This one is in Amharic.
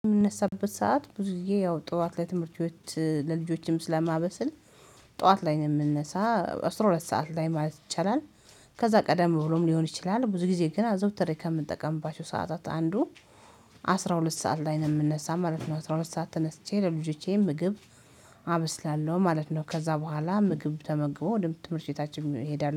የምነሳበት ሰዓት ብዙ ጊዜ ያው ጠዋት ለትምህርቤት ለልጆችም ስለማበስል ጠዋት ላይ ነው የምነሳ አስራ ሁለት ሰዓት ላይ ማለት ይቻላል። ከዛ ቀደም ብሎም ሊሆን ይችላል ብዙ ጊዜ ግን አዘወትሬ ከምጠቀምባቸው ሰዓታት አንዱ አስራ ሁለት ሰዓት ላይ ነው የምነሳ ማለት ነው። አስራ ሁለት ሰዓት ተነስቼ ለልጆቼ ምግብ አበስላለሁ ማለት ነው። ከዛ በኋላ ምግብ ተመግቦ ወደ ትምህርት ቤታችን እንሄዳለን